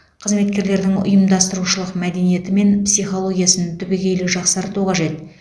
қызметкерлердің ұйымдастырушылық мәдениеті мен психологиясын түбегейлі жақсарту қажет